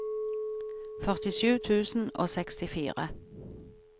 førtisju tusen og sekstifire